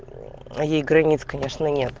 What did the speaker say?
ей границ конечно нет